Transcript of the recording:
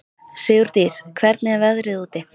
Sigurdís, hvernig er veðrið úti?